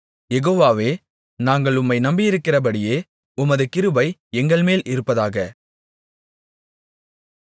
யெகோவாவே நாங்கள் உம்மை நம்பியிருக்கிறபடியே உமது கிருபை எங்கள்மேல் இருப்பதாக